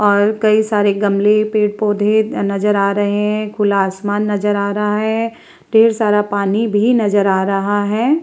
और कई सारे गमले पेड़-पौधे नज़र आ रहे हैं खुला आसमान नज़र आ रहा है ढेर सारा पानी भी नज़र आ रहा है ।